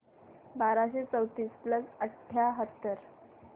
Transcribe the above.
बाराशे चौतीस प्लस अठ्याहत्तर